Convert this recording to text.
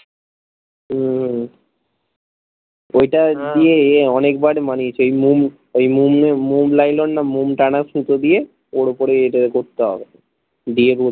উম ঐটা দিয়ে অনেক বার বানিয়েছি ওই মুন মুন লাইলন না মুন টানা সুতো দিয়ে ওর ওপরে করতে হবে দিয়ে